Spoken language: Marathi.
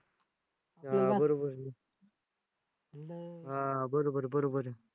हां हां बरोबर बरोबर आहे.